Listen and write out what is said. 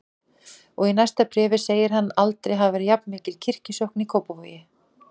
Og í næsta bréfi segir hann að aldrei hafi verið jafnmikil kirkjusókn í Kópavogi.